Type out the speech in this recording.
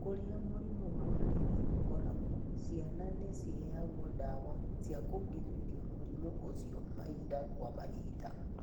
Kũrĩa mũrimũ wa malaria ũkoragwo, ciana nĩ ciheagwo ndawa cia kũgirĩrĩria mũrimũ ũcio mahinda kwa mahinda.